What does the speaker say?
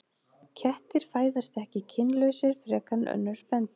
Kettir fæðast ekki kynlausir frekar en önnur spendýr.